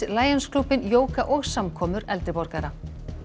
Lions klúbbinn jóga og samkomur eldri borgara